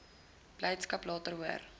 blydskap later hoor